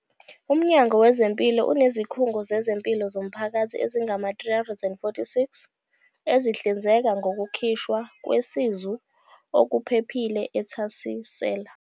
UMnyango Wezempilo unezikhungo zezempilo zomphakathi ezingama-346 ezihlinzeka ngokukhishwa kwesizu okuphephile, ethasisela.